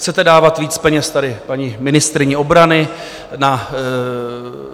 Chcete dávat víc peněz tady paní ministryni obrany na